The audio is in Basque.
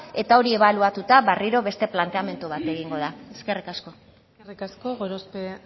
eta hori ebaluatuta berriro beste planteamendu bat egingo da eskerrik asko eskerrik asko gorospe